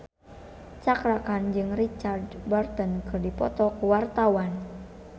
Cakra Khan jeung Richard Burton keur dipoto ku wartawan